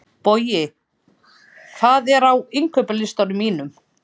Bogi, hvað er á innkaupalistanum mínum?